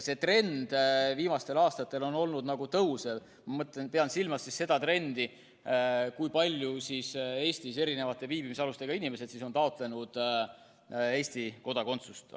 Viimaste aastate trend on olnud nagu kasvav – ma pean silmas seda trendi, kui paljud ühe või teise viibimisalusega Eestis elavad inimesed on taotlenud Eesti kodakondsust.